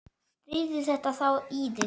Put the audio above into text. Drífðu þetta þá í þig.